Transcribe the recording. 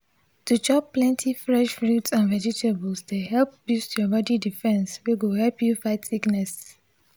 to chop plenty fresh fruits and vegetables dey help boost your body defence wey go help you fight sickness.